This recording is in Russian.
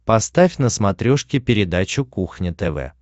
поставь на смотрешке передачу кухня тв